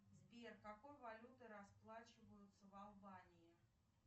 сбер какой валютой расплачиваются в албании